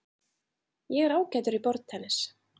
Ég er ágætur í borðtennis.